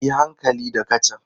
Yi hankali da kacan!